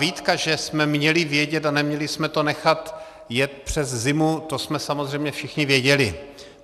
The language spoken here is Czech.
Výtka, že jsme měli vědět a neměli jsme to nechat jet přes zimu, to jsme samozřejmě všichni věděli.